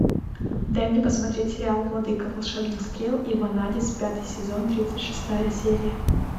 дай мне посмотреть сериал владыка волшебных стрел и ванадис пятый сезон тридцать шестая серия